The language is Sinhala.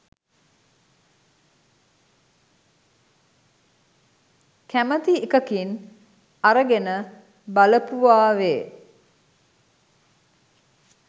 කැමති එකකින් අරගෙන බලපුවාවේ.